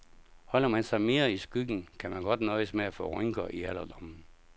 Holder man sig mere i skyggen, kan man godt nøjes med få rynker i alderdommen.